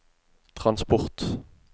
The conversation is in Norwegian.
transport